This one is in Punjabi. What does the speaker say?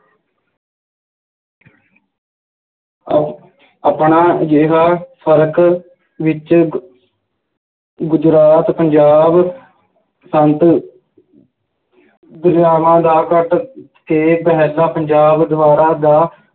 ਅਹ ਆਪਣਾ ਅਜਿਹਾ ਫਰਕ ਵਿੱਚ ਗ~ ਗੁਜਰਾਤ, ਪੰਜਾਬ ਦਰਿਆਵਾਂ ਦਾ ਪੰਜਾਬ ਦਰਿਆਵਾਂ ਦਾ